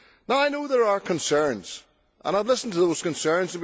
I know there are concerns and I have listened to those concerns.